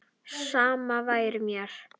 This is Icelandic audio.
Sama væri mér.